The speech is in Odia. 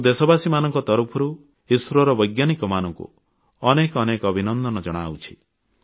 ମୁଁ ଦେଶବାସୀମାନଙ୍କ ତରଫରୁ ଇସ୍ରୋର ବୈଜ୍ଞାନିକମାନଙ୍କୁ ଅନେକ ଅନେକ ଅଭିନନ୍ଦନ ଜଣାଉଛି